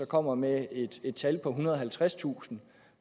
kommer med et tal på ethundrede og halvtredstusind